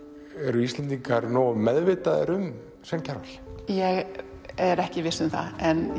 eru Íslendingar nógu meðvitaðir um Svein Kjarval ég er ekki viss um það